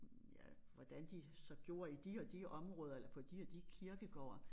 Ja hvordan de så gjorde i de og de områder eller på de og de kirkegårde